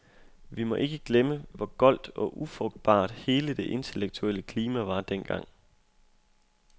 Vi må ikke glemme, hvor goldt og ufrugtbart hele det intellektuelle klima var dengang.